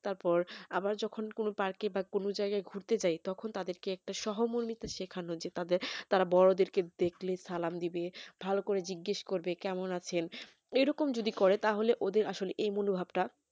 তারপর আবার যখন কোন park এ বা কোন জায়গায় ঘুরতে যাই তখন তাদেরকে একটা সহমর্মিত সেখানো যে তাদের তারা বড়দেরকে দেখলে সালাম দেবে ভালো করে জিজ্ঞেস করবে কেমন আছেন এরকম যদি করে তাহলে ওদের আসলে এই মনোভাব টা